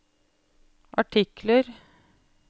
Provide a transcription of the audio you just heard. artikler